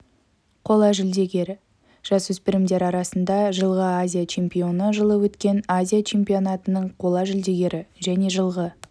қола жүлдегері жасөспірімдер арасында жылғы азия чемпионы жылы өткен азия чемпионатының қола жүлдегері және жылғы